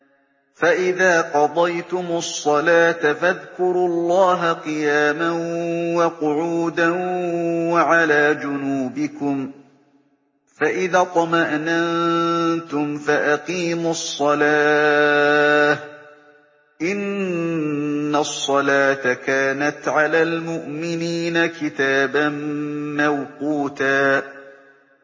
فَإِذَا قَضَيْتُمُ الصَّلَاةَ فَاذْكُرُوا اللَّهَ قِيَامًا وَقُعُودًا وَعَلَىٰ جُنُوبِكُمْ ۚ فَإِذَا اطْمَأْنَنتُمْ فَأَقِيمُوا الصَّلَاةَ ۚ إِنَّ الصَّلَاةَ كَانَتْ عَلَى الْمُؤْمِنِينَ كِتَابًا مَّوْقُوتًا